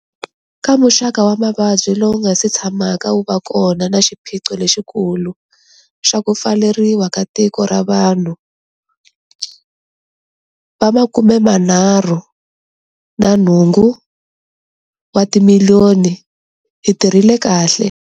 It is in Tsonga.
Ka muxaka wa mavabyi lowu nga si tshamaka wu va kona na xiphiqo lexikulu xa ku pfaleriwa ka tiko ra vanhu va 38 wa timiliyoni, hi tirhile kahle.